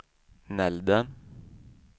Nälden